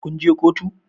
Kun je kotu?